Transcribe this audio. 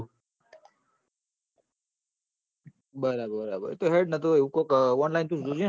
બરાબર હોય જ ન એ વું કોક હોય ન તો online તું જોજે ન